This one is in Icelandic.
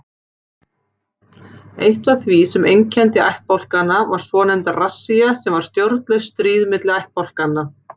Eitt af því sem einkenndi ættbálkana var svonefnd rassía sem var stjórnlaust stríð milli ættbálkanna.